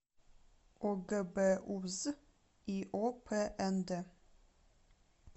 огбуз иопнд